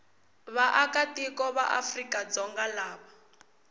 vaakatiko va afrika dzonga lava